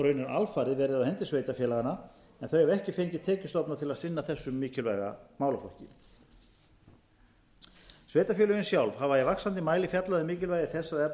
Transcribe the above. alfarið verið á hendi sveitarfélaganna en þau hafa ekki fengið tekjustofna til að sinna þessum mikilvæga málaflokki sveitarfélögin sjálf hafa í vaxandi mæli fjallað um mikilvægi þess að